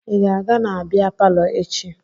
Ị ga-aga na bịa palọ echi?